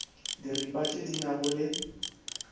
diripa tše di nago le